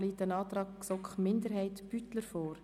Hier liegt ein Antrag GSoK-Minderheit/Beutler vor.